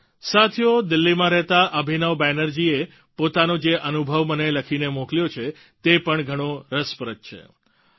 સાથીઓ દિલ્હીમાં રહેતા અભિનવ બેનર્જીએ પોતાનો જે અનુભવ મને લખીને મોકલ્યો છે તે પણ ઘણો રસપ્રદ છે